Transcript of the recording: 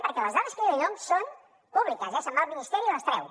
perquè les dades que jo li dono són públiques eh se’n va al ministeri i les treu